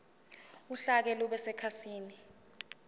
uhlaka lube sekhasini